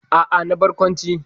A'a, na barkwanci.